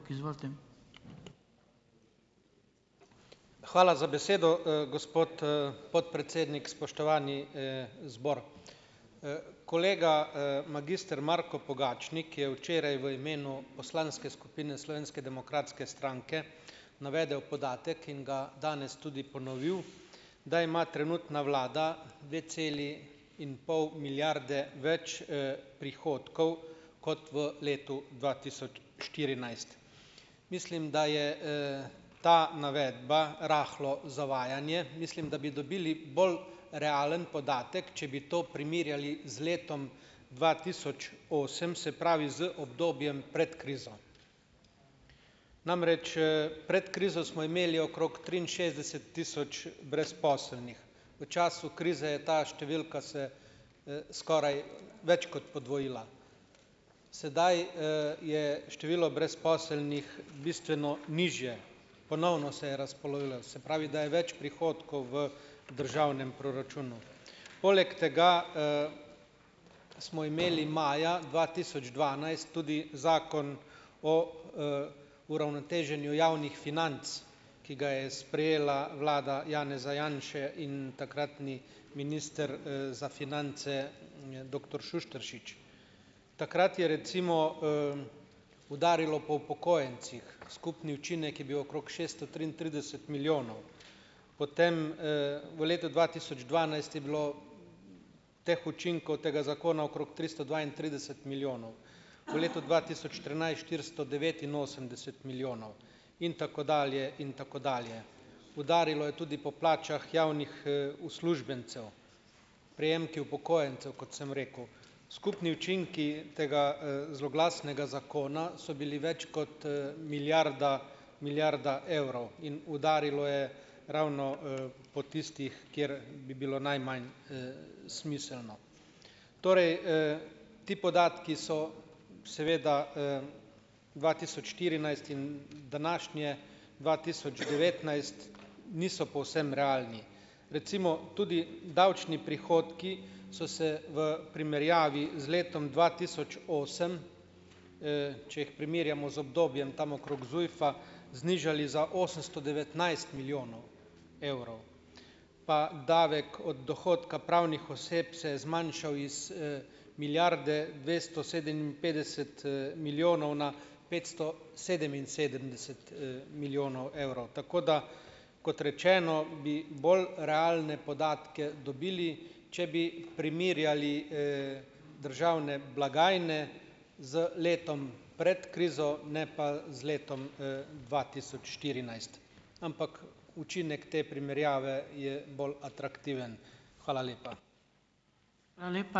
Izvolite. Hvala za besedo, gospod, podpredsednik. Spoštovani, zbor. kolega, magister Marko Pogačnik je včeraj v imenu poslanske skupine Slovenske demokratske stranke navedel podatek in ga danes tudi ponovil, da ima trenutna vlada dve celi in pol milijarde več, prihodkov kot v letu dva tisoč štirinajst. Mislim, da je, ta navedba rahlo zavajanje. Mislim, da bi dobili bolj realen podatek, če bi to primerjali z letom dva tisoč osem, se pravi z obdobjem pred krizo. Namreč, pred krizo smo imeli okrog triinšestdeset tisoč brezposelnih. V času krize je ta številka se, skoraj več kot podvojila. Sedaj, je število brezposelnih bistveno nižje. Ponovno se je razpolovilo, se pravi, da je več prihodkov v državnem proračunu. Poleg tega, smo imeli maja dva tisoč dvanajst tudi Zakon o, uravnoteženju javnih financ, ki ga je sprejela vlada Janeza Janše in takratni minister, za finance, doktor Šuštaršič. Takrat je recimo, udarilo po upokojencih. Skupni učinek je bil okrog šeststo triintrideset milijonov. Potem, v letu dva tisoč dvanajst je bilo teh učinkov tega zakona okrog tristo dvaintrideset milijonov. V letu dva tisoč trinajst štiristo devetinosemdeset milijonov in tako dalje in tako dalje. Udarilo je tudi po plačah javnih, uslužbencev. Prejemki upokojencev, kot sem rekel. Skupni učinki tega, zloglasnega zakona so bili več kot, milijarda, milijarda evrov. In udarilo je ravno, po tistih, kjer bi bilo najmanj, smiselno. Torej, ti podatki so, seveda, dva tisoč štirinajst in današnje dva tisoč devetnajst niso povsem realni. Recimo, tudi davčni prihodki so se v primerjavi z letom dva tisoč osem, če jih primerjamo z obdobjem tam okrog ZUJF-a znižali za osemsto devetnajst milijonov evrov. Pa davek od dohodka pravnih oseb se je zmanjšal iz, milijarde dvesto sedeminpetdeset, milijonov na petsto sedeminsedemdeset milijonov evrov. Tako da, kot rečeno, bi bolj realne podatke dobili, če bi primerjali, državne blagajne z letom pred krizo, ne pa z letom, dva tisoč štirinajst. Ampak, učinek te primerjave je bolj atraktiven. Hvala lepa. Hvala lepa.